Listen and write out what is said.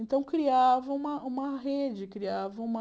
Então, criavam uma uma rede, criavam uma...